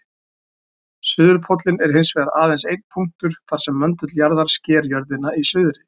Suðurpóllinn er hins vegar aðeins einn punktur þar sem möndull jarðar sker jörðina í suðri.